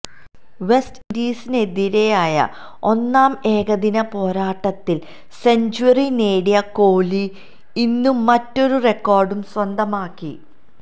west ഇൻഡീസിനെതിരായ ഒന്നാം ഏകദിന പോരാട്ടത്തിൽ സെഞ്ച്വറി നേടിയ കോഹ്ലി ഇന്നും മറ്റൊരു റെക്കോർഡും സ്വന്തമാക്കി